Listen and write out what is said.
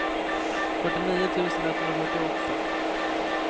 fyrtionio tusen etthundrafyrtioåtta